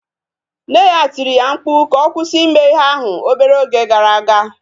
Nne ya tiri ya mkpu ka ọ kwụsị ime ihe ahụ obere oge gara aga